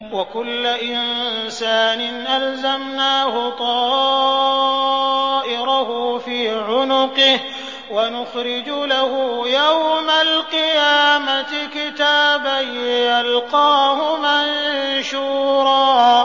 وَكُلَّ إِنسَانٍ أَلْزَمْنَاهُ طَائِرَهُ فِي عُنُقِهِ ۖ وَنُخْرِجُ لَهُ يَوْمَ الْقِيَامَةِ كِتَابًا يَلْقَاهُ مَنشُورًا